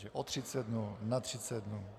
Takže o 30 dnů na 30 dnů.